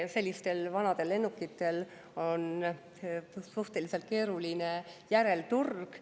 Sellistel vanadel lennukitel on suhteliselt keeruline järelturg.